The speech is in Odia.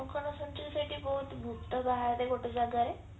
ମୁଁ କଣ ଶୁଣିଛି କି ସେଇଠି କୋଉଠି ଭୁତ ବାହାରେ ଗୋଟେ ଜାଗାରେ